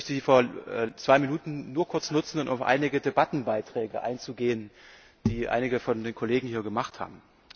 Ich möchte die zwei Minuten nur kurz nutzen, um auf einige Debattenbeiträge einzugehen, die einige der Kollegen hier gemacht haben.